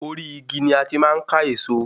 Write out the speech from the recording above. Ori igi ni a ti máa n ka eso